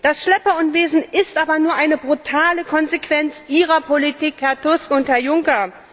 Das Schlepperunwesen ist aber nur eine brutale Konsequenz Ihrer Politik, Herr Tusk und Herr Juncker.